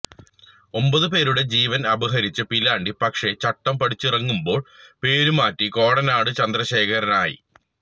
ഒന്പത് പേരുടെ ജീവന് അപഹരിച്ച പീലാണ്ടി പക്ഷെ ചട്ടം പഠിച്ചിറങ്ങുമ്പോള് പേരുമാറ്റി കോടനാട് ചന്ദ്രശേഖരനായി